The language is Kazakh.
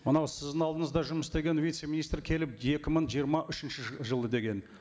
мынау сіздің алдыңызда жұмыс істеген вице министр келіп екі мың жиырма үшінші жылы деген